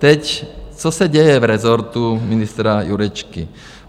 Teď, co se děje v rezortu ministra Jurečky.